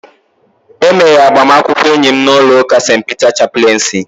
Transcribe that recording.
E mere agbamakwụkwọ enyi m n'ụlọ ụka St. Peter chapleensi